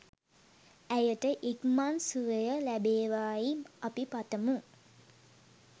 ඇයට ඉක්මන් සුවය ලැබේවා යි අපි පතමු